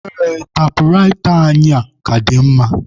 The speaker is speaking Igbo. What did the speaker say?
Ee, taịpụraịta anyị a ka dị mma.